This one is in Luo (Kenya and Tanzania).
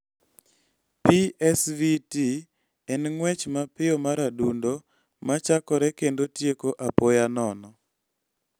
PSVT en ng�wech mapiyo mar adundo ma chakore kendo tieko apoya nono.